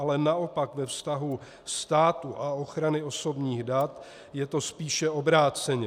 Ale naopak ve vztahu státu a ochrany osobních dat je to spíše obráceně.